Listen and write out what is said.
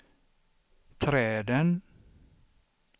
träden